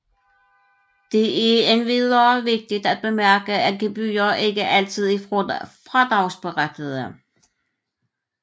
Det er endvidere vigtigt at bemærke at gebyrer ikke altid er fradragsberettigede